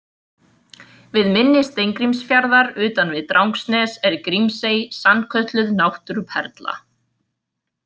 Við mynni Steingrímsfjarðar utan við Drangsnes er Grímsey, sannkölluð náttúruperla.